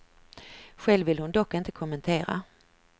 Själv vill hon dock inte kommentera.